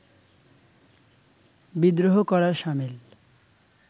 বিদ্রোহ করার সামিল